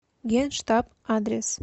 генштаб адрес